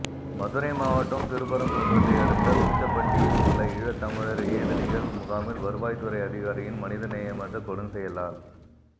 மதுரை மாவட்டம் திருப்பரங்குன்றத்தை அடுத்த உச்சப்பட்டியில் உள்ள ஈழத்தமிழர் ஏதிலிகள் முகாமில் வருவாய் துறை அதிகாரியின் மனிதநேயமற்ற கொடுஞ்செயலால்